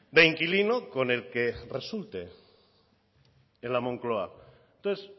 de inquilino con el que resulte en la moncloa entonces